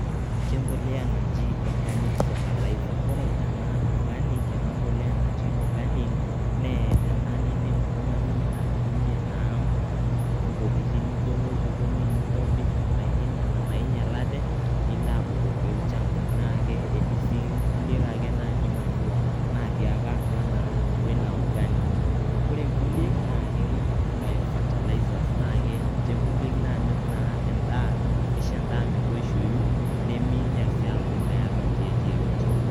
Ke mpolea naji organic fertizer ore ena organic ena mbolea naji organic naa ena nindim oltngani atutmie intokitin nijo nojikoni nintobirr ndaikin nena nainyialate nilo abkoki olchamba .na ke ketii sii nkuliek ake naji manure natii ake atua naa atua ina organic. ore nkulie naa bio fertilize na ke ninche kuliek nanyorr naa endaa nisho endaa metoishoyu neminyial sii amu meeta irkieek yeyote.